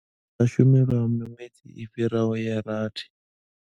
Vha sa shumi lwa miṅwedzi i fhiraho ya rathi.